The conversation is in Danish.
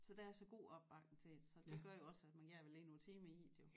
Så der er så god opbakning til det så det gør jo også at man gerne vil lægge nogle timer i det jo